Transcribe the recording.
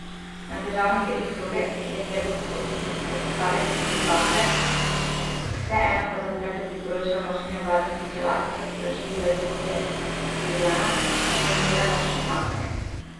Na težavnih delih proge, kjer je treba upočasniti, so postavljene tudi bakle, vseeno pa za otroke priporočajo nošenje varnostnih čelad, so sporočili iz Agencije Julijana, ki organizira nočno sankanje.